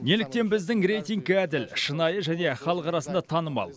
неліктен біздің рейтинг әділ шынайы және халық арасында танымал